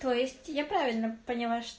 то есть я правильно поняла ш